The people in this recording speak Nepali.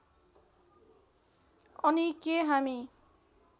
अनि के हामी